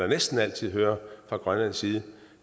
næsten altid hører fra grønlands side